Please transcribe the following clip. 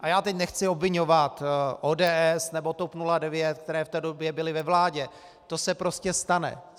A já teď nechci obviňovat ODS nebo TOP 09, které v té době byly ve vládě, to se prostě stane.